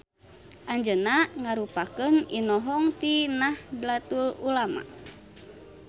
Anjeunna ngarupakeun inohong ti Nahdlatul Ulama.